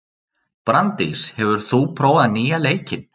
Branddís, hefur þú prófað nýja leikinn?